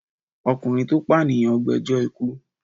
Ọkùnrin tó pànìyàn gbẹjọ́ ikú.